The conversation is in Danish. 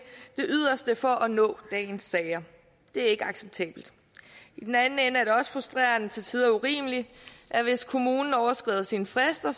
yderste for at nå dagens sager det er ikke acceptabelt i den anden ende er det også frustrerende og til tider urimeligt at hvis kommunen overskrider sine frister